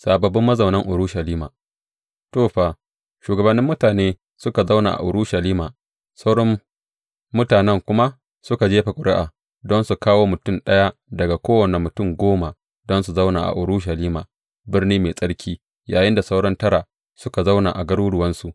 Sababbin mazaunan Urushalima To, fa, shugabannin mutane suka zauna a Urushalima, sauran mutanen kuma suka jefa ƙuri’a don su kawo mutum ɗaya daga kowane mutum goma don su zauna a Urushalima, birni mai tsarki, yayinda sauran tara suka zauna a garuruwansu.